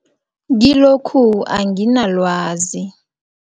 Kilokhu anginalwazi.